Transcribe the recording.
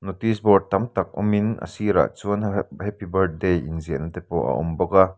notice board tam tak awmin a sirah chuan h-a h-a happy birthday inziahna te pawh a awm bawk a.